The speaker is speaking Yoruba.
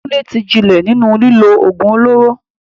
Kunle ti jinlẹ̀ nínú lílo ògùn olóró.